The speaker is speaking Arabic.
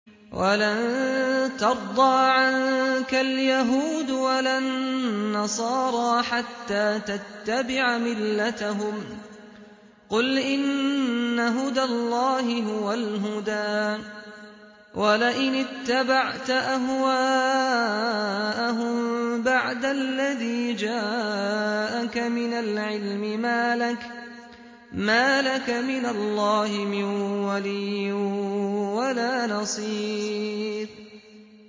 وَلَن تَرْضَىٰ عَنكَ الْيَهُودُ وَلَا النَّصَارَىٰ حَتَّىٰ تَتَّبِعَ مِلَّتَهُمْ ۗ قُلْ إِنَّ هُدَى اللَّهِ هُوَ الْهُدَىٰ ۗ وَلَئِنِ اتَّبَعْتَ أَهْوَاءَهُم بَعْدَ الَّذِي جَاءَكَ مِنَ الْعِلْمِ ۙ مَا لَكَ مِنَ اللَّهِ مِن وَلِيٍّ وَلَا نَصِيرٍ